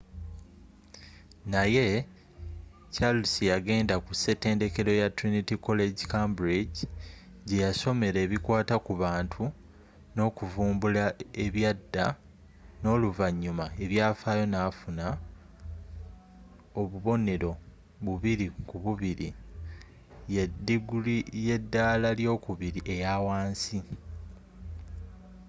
naye charles yagenda ku setendekero ya trinity college cambridge jeyasomera ebikwata ku bantu n’okuvumbula ebyada n’oluvanyuma ebyafaayo nafuna obubonero 2:2diguli y’edaala ly'okubiri eyawansi